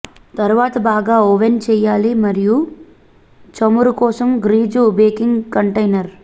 తరువాత బాగా ఓవెన్ చేయాలి మరియు చమురు కోసం గ్రీజు బేకింగ్ కంటైనర్